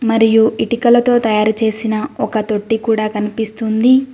మరియు ఇటికలతో తయారుచేసిన ఒక తొట్టి కూడా కనిపిస్తుంది.